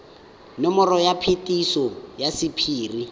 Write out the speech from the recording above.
nomoro ya phetiso ya sephiri